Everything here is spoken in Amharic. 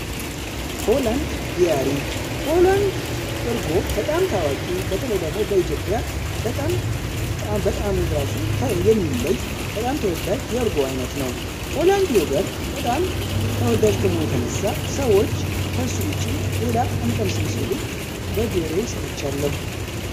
ሆላንድ ዲያሪ ሆላንድ እርጎ በጣም ታዋቂ በተለይ ደግሞ በኢትዮጵያ በጣም በጣዕሙ ራሱ የሚለይ በጣም ተወዳጅ የእርጎ አይነት ነው። ሆላንድ ዮገርት በጣም ተወዳጅ ከመሆኑ የተነሳ ሰዎች ውጪ ሌላ እንቀምስም ሲሉ በጆሮዬ ሰምቻለሁ።